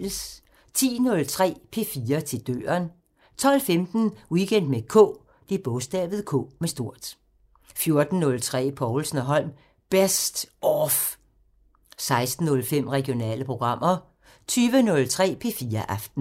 10:03: P4 til døren 12:15: Weekend med K 14:03: Povlsen & Holm: Best off 16:05: Regionale programmer 20:03: P4 Aften